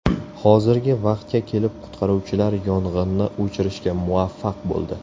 Hozirgi vaqtga kelib qutqaruvchilar yong‘inni o‘chirishga muvaffaq bo‘ldi.